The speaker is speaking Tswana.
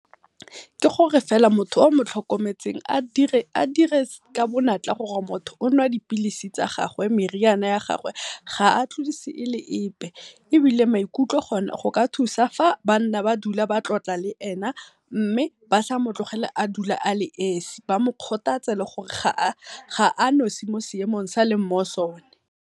Ke gore fela motho o motlhokometseng a dire ka bonatla gore motho o onwa dipilisi tsa gagwe meriana ya gagwe ga a tlodisi e le epe, ebile maikutlo gone go ka thusa fa banna ba dula ba tlotla le ena mme ba sa mo tlogela a dula a le esi, ba mo kgothatse le gore ga a nosi mo seemong se a leng mo sone.